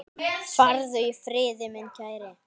Farðu í friði, minn kæri.